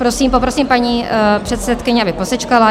Poprosím paní předsedkyni, aby posečkala.